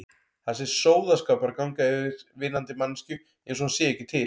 Það sé sóðaskapur að ganga yfir vinnandi manneskju einsog hún sé ekki til.